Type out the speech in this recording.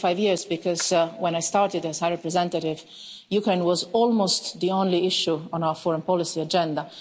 I say five years because, when I started as High Representative, Ukraine was almost the only issue on our foreign policy agenda.